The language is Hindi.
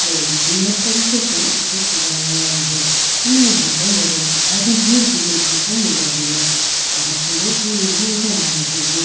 बड़े ही सुंदर तरीके से इसे सजाया गया है हमें यहां पर लोगों की भारी भीड़ भी देखने को मिल रही है बहुत से लोग हमें यहां नज़र आ रहे हैं।